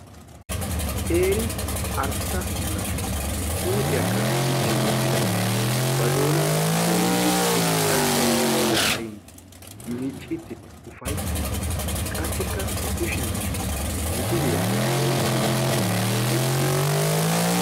Qeeri arssa na'ay huuphphiyaakka dichchi wottidagee ba doonaa doyidi inxxarssay zaarin miiccidinne ufayttiidi qassikka ba kushshiyaan misiliyaa oyqqidi ufayttiidi beettees.